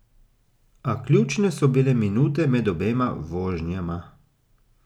A ključne so bile minute med obema vožnjama.